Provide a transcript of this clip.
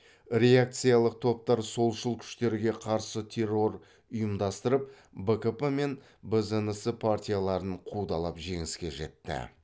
реакциялық топтар солшыл күштерге қарсы террор ұйымдастырып бкп мен бзнс партияларын қудалап жеңіске жетті